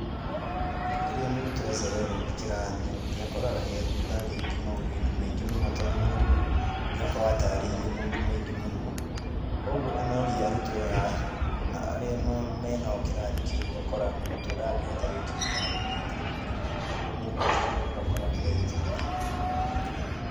Rĩrĩa mũrutwo acererwo nĩ kĩrathi, nĩ akoraga ethutha rĩngĩ maũndũ-inĩ maingĩ mũno, tondũ nĩ mwarimũ nĩ akoragwo atarĩirie maũndũ maingĩ mũno, koguo onoria arutwo arĩa menao kĩrathi kĩũ ũgakora mũrutwo ndangĩhota rĩngĩ gũtarĩrĩa ta mwarimũ. Koguo ũgakora mũndũ ũcio ethutha.